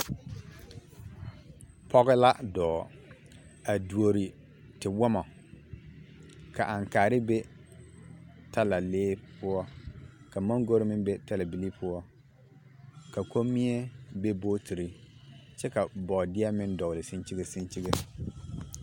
Pɔge la dɔɔ a duori tewɔmɔ ka aŋkaare be talalee poɔ ka maŋgori meŋ be talabilii poɔ, ka kommie be bootiri kyɛ ka bɔɔdeɛ meŋ dɔgele seŋkyige seŋkyige.